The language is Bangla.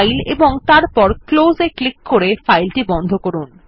ফাইল ও তারপর ক্লোজ এ ক্লিক করে ফাইলটি বন্ধ করুন